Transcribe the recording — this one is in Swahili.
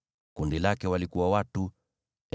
Kundi lake lina watu 62,700.